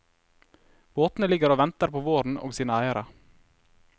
Båtene ligger og venter på våren og sine eiere.